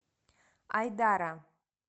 айдара